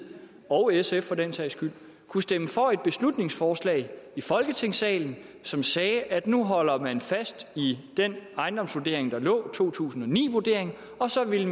og sf for den sags skyld kunne stemme for et beslutningsforslag i folketingssalen som sagde at nu holder man fast i den ejendomsvurdering der lå to tusind og ni vurderingen og så ville